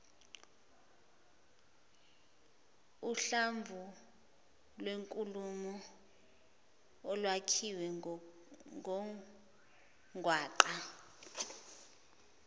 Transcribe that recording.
uhlamvulwenkulumo olwakhiwe ngungwaqa